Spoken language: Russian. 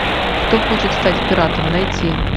кто хочет стать пиратом найти